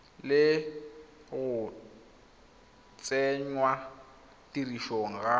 le go tsenngwa tirisong ga